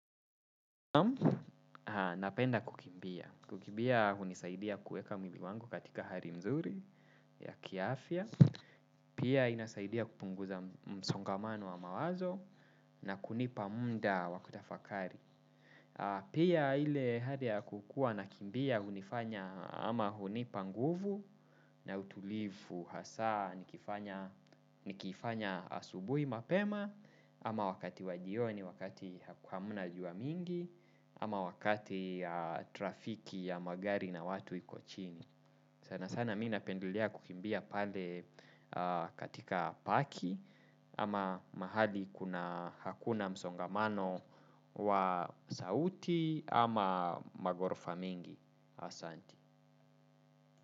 Napenda kukimbia. Kukimbia hunisaidia kueka mwili wangu katika hali nzuri ya kiafya. Pia inasaidia kupunguza msongamano wa mawazo na kunipa muda wa kutafakari. Pia ile hali ya kukuwa nakimbia hunifanya ama hunipa nguvu na utulivu hasa nikifanya asubui mapema. Ama wakati wa jioni, wakati hamna jua mingi. Ama wakati trafiki ya magari na watu iko chini. Sana sana mi napendelea kukimbia pale katika paki. Ama mahali kuna hakuna msongamano wa sauti ama maghorofa mingi. Asanti.